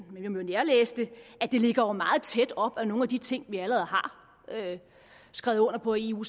vi kan jo nærlæse den at det ligger meget tæt op ad nogle af de ting vi allerede har skrevet under på i eu